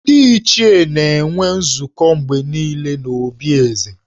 Ndị Ichie na-enwe nzukọ mgbe niile n’obi Eze